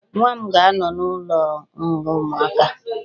Nwa m ga-anọ n'ụlọnga ụmụaka